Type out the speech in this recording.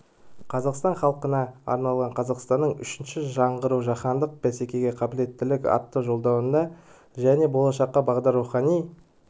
қазақстан халқына арналған қазақстанның үшінші жаңғыруы жаһандық бәсекеге қабілеттілік атты жолдауында және болашаққа бағдар рухани